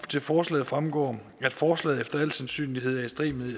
til forslaget fremgår at forslaget efter al sandsynlighed er i strid med